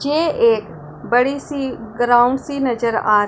ये एक बड़ी सी ग्राउंड सी नजर आ--